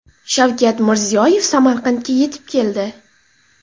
Shavkat Mirziyoyev Samarqandga yetib keldi.